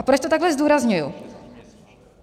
A proč to takhle zdůrazňuji.